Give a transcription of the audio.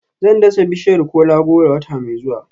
Zan dasa bishiyar kola-goro wata mai zuwa